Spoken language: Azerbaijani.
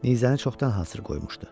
Nizəni çoxdan hazır qoymuşdu.